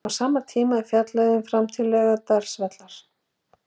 Á sama tíma er fjallað um framtíð Laugardalsvallar.